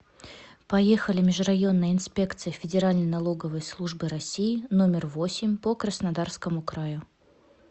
поехали межрайонная инспекция федеральной налоговой службы россии номер восемь по краснодарскому краю